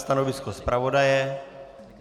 Stanovisko zpravodaje.